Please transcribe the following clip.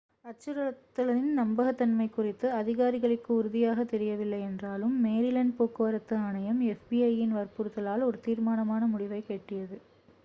அச்சுறுத்தலின் நம்பகத்தன்மை குறித்து அதிகாரிகளுக்கு உறுதியாகத் தெரியவில்லை என்றாலும் மேரிலேண்ட் போக்குவரத்து ஆணையம் fbi-இன் வற்புறுத்தலால் ஒரு தீர்மான முடிவை எட்டியது